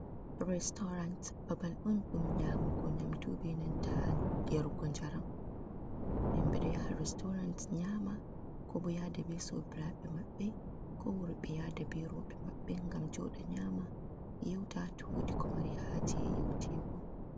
"Restorant" babal on ɗum nyamugo nyamdu benanta yarugo njaram himɓe ɗo yaha restorant nyama ko yaada be sobiraɓe mabbe ko worɓe yada be roɓe maɓɓe ngam joɗa nyama yeuta ko ɓe mari haje yeutego.